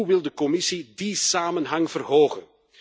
Hoe wil de Commissie die samenhang verhogen?